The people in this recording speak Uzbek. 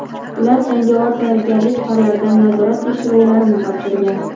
Ular jangovar tayyorgarlik fanlaridan nazorat tekshiruvlarini topshirgan.